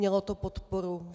Mělo to podporu.